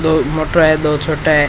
दो मोटा है दो छोट है।